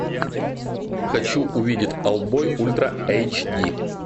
хочу увидеть олдбой ультра эйч ди